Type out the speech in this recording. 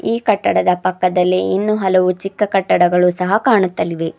ಈ ಕಟ್ಟಡದ ಪಕ್ಕದಲ್ಲಿ ಇನ್ನೂ ಹಲವು ಚಿಕ್ಕ ಕಟ್ಟಡಗಳು ಸಹ ಕಾಣುತ್ತಲಿವೆ.